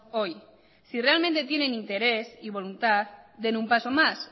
hoy si realmente tienen interés y voluntad den un paso más